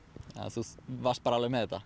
þú varst bara alveg með þetta